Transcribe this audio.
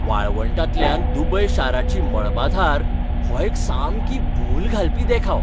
वाळवंटांतल्यान Dubai शाराची मळबाधार हो एक सामकी भूल घालपी देखाव.